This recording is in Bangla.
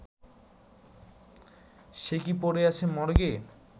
সে কি পড়ে আছে মর্গে